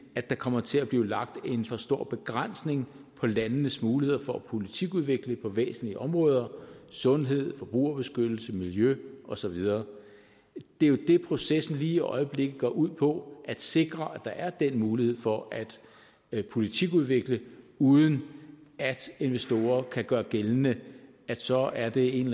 at der kommer til at blive lagt en for stor begrænsning på landenes muligheder for at politikudvikle på væsentlige områder sundhed forbrugerbeskyttelse miljø og så videre det er jo det processen lige i øjeblikket går ud på altså at sikre at der er den mulighed for at at politikudvikle uden at investorer kan gøre gældende at så er det en